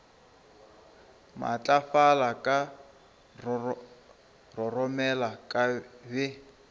matlafala ka roromela ka be